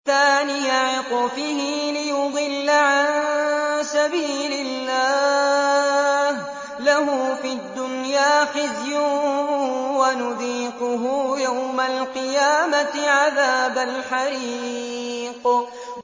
ثَانِيَ عِطْفِهِ لِيُضِلَّ عَن سَبِيلِ اللَّهِ ۖ لَهُ فِي الدُّنْيَا خِزْيٌ ۖ وَنُذِيقُهُ يَوْمَ الْقِيَامَةِ عَذَابَ الْحَرِيقِ